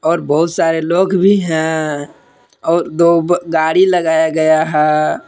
और बहुत सारे लोग भी हैं और दो गाड़ी लगाया गया है।